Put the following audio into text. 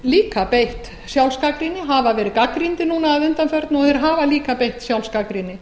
líka beitt sjálfsgagnrýni hafa verið gagnrýndir núna að undanförnu og þeir hafa líka beitt sjálfsgagnrýni